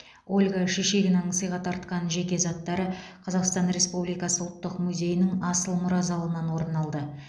ольга шишигинаның сыйға тартқан жеке заттары қазақстан республикасы ұлттық музейінің асыл мұра залынан орын алды